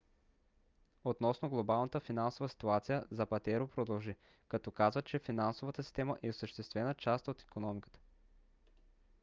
относно глобалната финансова ситуация запатеро продължи като каза че финансовата система е съществена част от икономиката